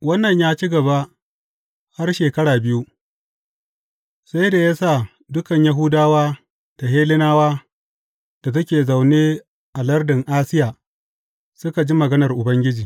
Wannan ya ci gaba har shekara biyu, sai da ya sa dukan Yahudawa da Hellenawa da suke zaune a lardin Asiya suka ji maganar Ubangiji.